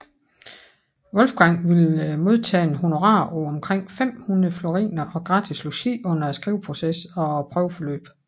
Wolfgang ville modtage et honorar på omkring 500 floriner og gratis logi under skriveprocessen og prøveforløbet